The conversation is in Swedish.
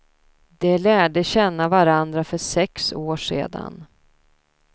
De lärde känna varandra för sex år sedan.